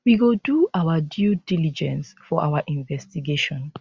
we go do our due diligence for our investigation